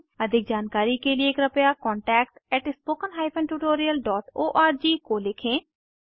अधिक जानकारी के लिए कृपया contactspoken tutorialorg को लिखें